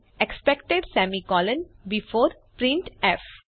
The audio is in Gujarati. expected semicolon before printf